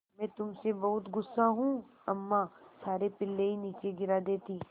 मैं तुम से बहुत गु़स्सा हूँ अम्मा सारे पिल्ले ही नीचे गिरा देतीं